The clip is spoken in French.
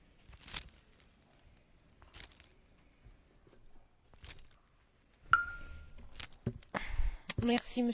Monsieur le Président, je voudrais tout d'abord me féliciter de ce que la situation des droits de l'homme à Djibouti fasse enfin l'objet d'une résolution du Parlement européen.